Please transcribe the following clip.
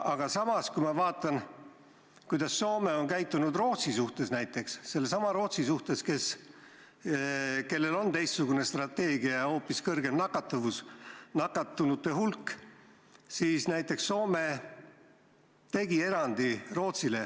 Aga samas, kui ma vaatan, kuidas Soome on käitunud näiteks Rootsi suhtes, sellesama Rootsi suhtes, kellel on teistsugune strateegia ja hoopis kõrgem nakatuvus ja suurem nakatunute hulk, siis näiteks Rootsile tegi Soome erandi.